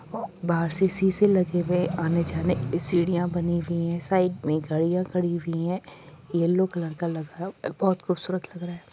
बाहर से शीशे लगे हैं । आने जाने की सीढ़ियां बनी हुयी है साइड में गाड़ियां खड़ी हुई हैं येलो कलर लगा है बोहोत खुबसूरत लग रहा है ।